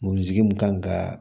Moriki mun kan ka